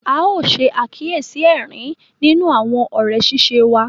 A yóò ṣe àkíyèsí ẹrín nínú àwọn òré ṣiṣe wà.